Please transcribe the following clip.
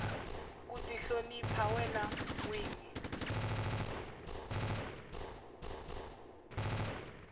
ku tihlonipa wena nwini